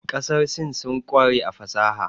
Ƙasar Sin sun ƙware a fasaha.